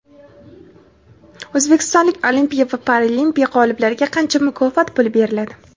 O‘zbekistonlik Olimpiya va Paralimpiya g‘oliblariga qancha mukofot puli beriladi?.